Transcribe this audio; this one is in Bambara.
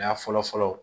Ya fɔlɔ fɔlɔ